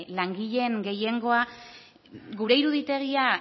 langileen gehiengoa gure iruditegia